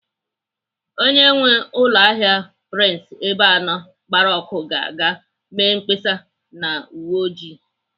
Onye nwee ụlọahịa prince Ebeano gbara ọkụ ga-aga mee mkpesa na uwe oji.